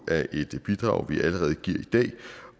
af et bidrag vi allerede giver i dag